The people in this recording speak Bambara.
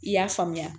I y'a faamuya